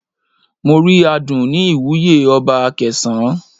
Mo rí aadun ní ìwúye ọba Akesan.